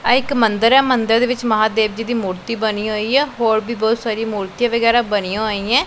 ਆਹ ਇੱਕ ਮੰਦਿਰ ਹੈ ਮੰਦਿਰ ਦੇ ਵਿੱਚ ਮਹਾਦੇਵ ਜੀ ਦੀ ਮੂਰਤੀ ਬਣੀ ਹੋਈ ਹੈ ਹੋਰ ਵੀ ਬਹੁਤ ਸਾਰੀਆਂ ਮੂਰਤੀਆਂ ਵਗੈਰਾ ਬਣੀਆਂ ਹੋਈਆਂ ਹੈਂ।